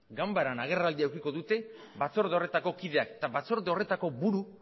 ganbaran agerraldia edukiko dute batzorde horretako kideak eta batzorde horretako buru